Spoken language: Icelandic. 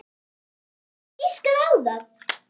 Hver getur giskað á það?